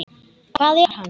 Hvað er hann?